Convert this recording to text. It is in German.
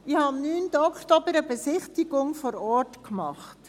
Ich habe am 9. Oktober eine Besichtigung vor Ort gemacht.